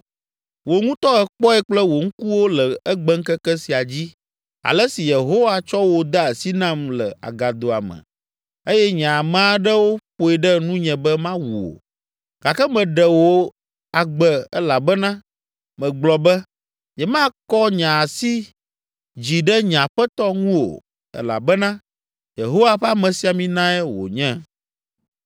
Wò ŋutɔ èkpɔe kple wò ŋkuwo le egbeŋkeke sia dzi ale si Yehowa tsɔ wò de asi nam le agadoa me eye nye ame aɖewo ƒoe ɖe nunye be mawu wò, gake meɖe wò agbe elabena megblɔ be, ‘Nyemakɔ nye asi dzi ɖe nye aƒetɔ ŋu o, elabena Yehowa ƒe amesiaminae wònye.’